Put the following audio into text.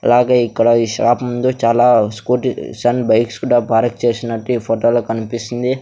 అలాగే ఇక్కడ ఈ షాప్ ముందు చాలా స్కూటీస్ అండ్ బైక్స్ కుడా పార్క్ చేసినట్టు ఈ ఫొటో లో కన్పిస్తుంది.